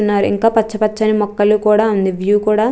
స్తున్నారు ఇంకా పచ్చ పచ్చ ని మొక్కలు కూడా ఉన్నయి వ్యూ కూడా--